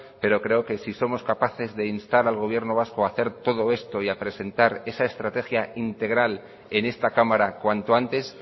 pero creo que si somos capaces de instar al gobierno vasco a hacer todo esto y a presentar esa estrategia integral en esta cámara cuanto antes